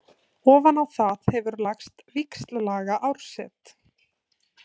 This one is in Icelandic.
Ofan á það hefur lagst víxllaga árset.